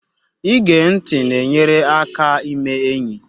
Ige ntị na-enyere gị aka ime enyi